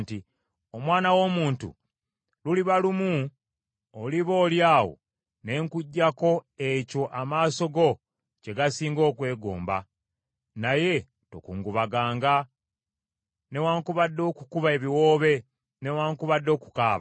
“Omwana w’omuntu, luliba lumu oliba oli awo ne nkuggyako ekyo amaaso go kye gasinga okwegomba, naye tokungubaganga newaakubadde okukuba ebiwoobe newaakubadde okukaaba.